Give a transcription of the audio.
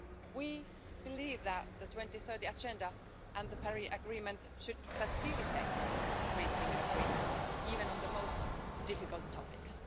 We believe that the 2030 Agenda and the Paris Agreement should facilitate reaching an agreement, even on the most difficult topics.